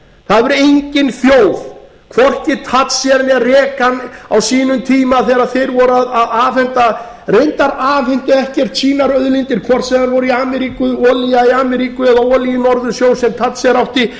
það hefur engin þjóð hvorki thatcher né reagan á sínum tíma þegar þau voru að afhenda reyndar afhentu þau ekkert sínar auðlindir hvort sem þær voru í ameríku olía í ameríku eða olía í norðursjó sem thatcher átti